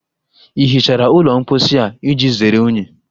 Ị hichara ụlọ mposi a iji zere unyi?